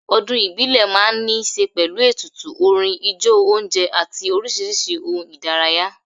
Ọdún ìbílẹ̀ máa ń ní ṣe pẹ̀lú ètùtù, orin, ijó oúnjẹ àti oríṣiríṣi ohun ìdárayá.